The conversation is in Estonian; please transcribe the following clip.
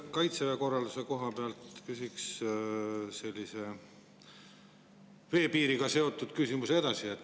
Kaitseväe korralduse koha pealt küsin veel ühe veepiiriga seotud küsimuse.